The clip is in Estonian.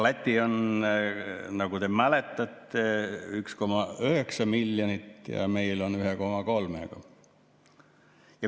Lätis on, nagu te mäletate, 1,9 miljonit ja meil on 1,3.